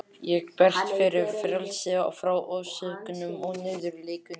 Ég berst fyrir frelsi frá ofsóknum og niðurlægingu.